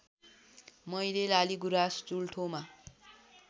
मैले लालिगुराँस चुल्ठोमा